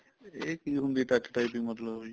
ਇਹ ਚੀਜ ਹੁੰਦੀ ਏ touch typing ਮਤਲਬ ਵੀ